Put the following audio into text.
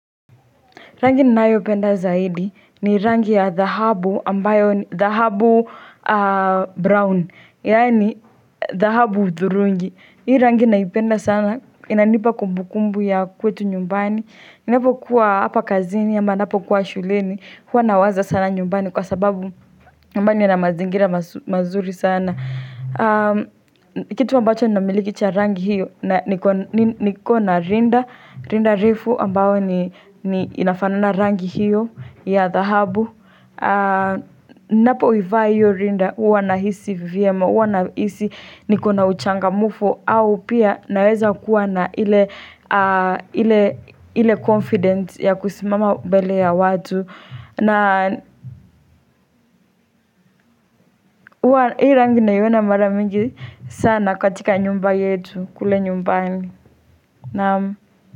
Rangi ninayopenda zaidi ni rangi ya dhahabu ambayo, dhahabu brown, yaani dhahabu thurungi. Hii rangi naipenda sana, inanipa kumbukumbu ya kwetu nyumbani. Ninapokuwa hapa kazini, ama ninapokuwa shuleni, huwa nawaza sana nyumbani kwa sababu nyumbani inamazingira mazuri sana. Na kitu ambacho ninamiliki cha rangi hiyo na niko na rinda Rinda refu ambao ni inafanana rangi hiyo ya dhahabu Ninapoivaa hiyo rinda huwa nahisi vyema huwa nahisi niko na uchangamfu au pia naweza kuwa na ile ile confidence ya kusimama mbele ya watu na hii rangi naiona mara mingi sana katika nyumba yetu kule nyumbani naam.